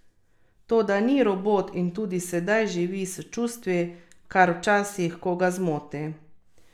Toda ni robot in tudi sedaj živi s čustvi, kar včasih koga zmoti.